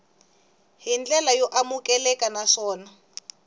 hi ndlela yo amukeleka naswona